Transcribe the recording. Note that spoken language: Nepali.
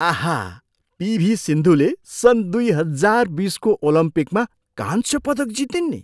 आहा, पिभी सिन्धुले सन् दुई हजार बिसको ओलम्पिकमा कांस्य पदक जितिन् नि।